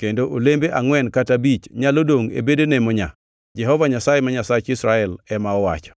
kendo olembe angʼwen kata abich nyalo dongʼ e bedene monyaa,” Jehova Nyasaye ma Nyasach Israel ema owacho.